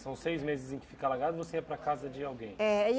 São seis meses em que fica alagado você ia para casa de alguém? É, e